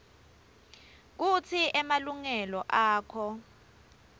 kutsi emalungelo akho